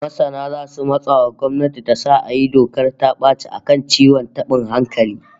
Masana zasu matsa wa gwamnati ta sa a yi dokar ta baci a kan ciwon tabin hankali